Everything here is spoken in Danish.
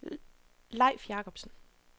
Leif Jakobsen